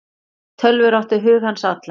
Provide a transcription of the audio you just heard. Tölvur áttu hug hans allan.